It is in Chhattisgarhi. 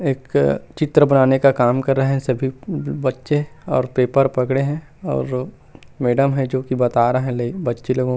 एक चित्र बनाने का काम कर रहे हे सभी ब बच्चे और पेपर पकड़े हे और मैडम हे जो की बता रहे हे बच्चे लोगो को--